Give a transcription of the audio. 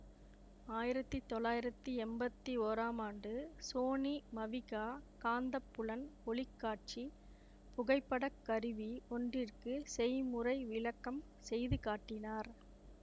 ஆயிரத்தி தொள்ளாயிரத்தி எம்பத்தி ஒறாம் ஆண்டு சோனி மவிகா காந்தப்புலன் ஒளி காட்சி புகைப்படக் கருவி ஒன்றிற்கு செய்முறை விளக்கம் செய்து காட்டினார்